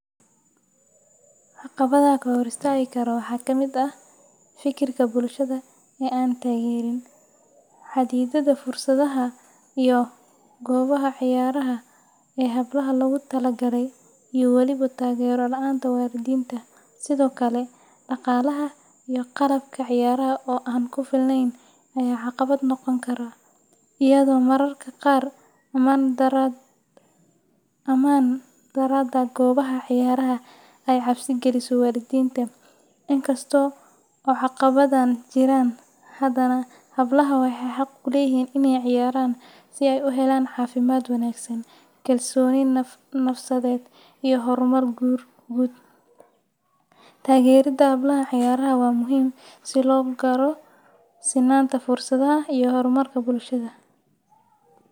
Caqabadaha ka hor istaagi kara waxaa kamid ah fikirka bulshada ee aan taageerin, xaddidaadda fursadaha iyo goobaha ciyaaraha ee hablaha loogu talagalay, iyo waliba taageero la’aanta waalidiinta. Sidoo kale, dhaqaalaha iyo qalabka ciyaaraha oo aan ku filnayn ayaa caqabad noqon kara, iyadoo mararka qaar ammaan darrada goobaha ciyaaraha ay cabsi geliso waalidiinta. In kasta oo caqabadahan jiraan, haddana hablaha waxay xaq u leeyihiin inay ciyaaraan si ay u helaan caafimaad wanaagsan, kalsooni nafsadeed iyo horumar guud. Taageeridda hablaha ciyaaraha waa muhiim si loo gaaro sinnaanta fursadaha iyo horumarka bulshada.